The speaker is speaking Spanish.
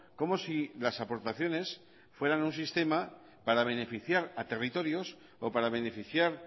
como si las aportaciones fueran un sistema para beneficiar a territorios o para beneficiar